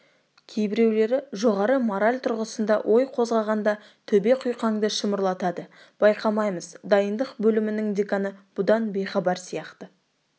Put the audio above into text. кейбіреулері жоғары мораль тұрғысында ой қозғағанда төбе құйқаңды шымырлатады байқаймыз дайындық бөлімінің деканы бұдан бейхабар сияқты